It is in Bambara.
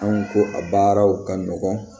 Anw ko a baaraw ka nɔgɔn